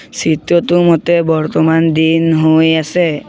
চিত্ৰটো মতে বৰ্তমান দিন হৈ আছে।